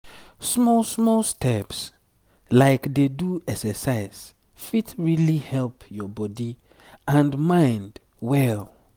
small small steps like dey do exercise fit really help your body and mind well.